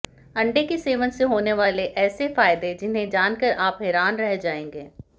अंडे के सेवन से होने वाले ऐसे फायदे जिन्हें जानकर आप हैरान रह जाएंगे